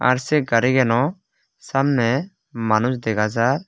ar se garigeno samne manuj dega jar.